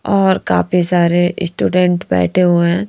और काफी सारे स्टूडेंट बैठे हुए हैं।